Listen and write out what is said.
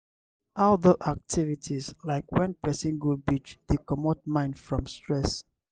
outdoor activities like when person go beach dey comot mind from stress